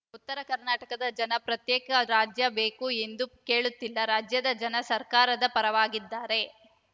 ಉತ್ತರ ಕರ್ನಾಟಕದ ಜನ ಪ್ರತ್ಯೇಕ ರಾಜ್ಯ ಬೇಕು ಎಂದು ಕೇಳುತ್ತಿಲ್ಲ ರಾಜ್ಯದ ಜನ ಸರ್ಕಾರದ ಪರವಾಗಿದ್ದಾರೆ